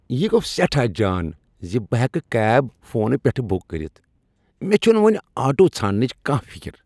یہ گوٚو سٮ۪ٹھاہ جان ز بہٕ ہٮ۪کہٕ کٮ۪ب فونہٕ پٮ۪ٹھٕ بک کٔرتھ۔ مےٚ چھنہٕ وۄنۍ آٹوٗ ژھانٛڈنٕچ کانٛہہ فکر۔